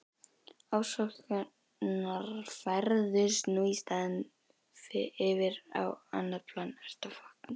Ofsóknirnar færðust nú í staðinn yfir á annað plan.